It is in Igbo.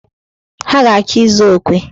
Ha ga-achọ ịzụ okwe.